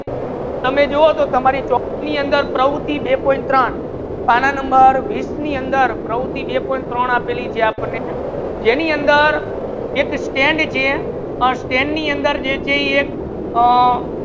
તમે જો તમારી job ની અંદર પ્રવૃતિ બે point ત્રણ પાના નંબર વીસ ની અંદર પ્રવૃતિ બે point ત્રણ આપેલી છે જે આપને જેની અંદર એક scan છે ઓર scan ની અંદર જે છે ઇ એક અ